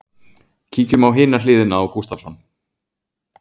Kíkjum á hina hliðina á Gustavsson.